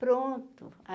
Pronto.